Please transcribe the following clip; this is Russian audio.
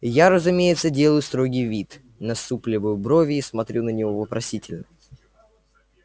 я разумеется делаю строгий вид насупливаю брови и смотрю на него вопросительно